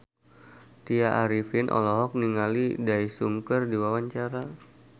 Tya Arifin olohok ningali Daesung keur diwawancara